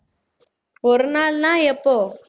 ஒரு நாள்னா எப்போ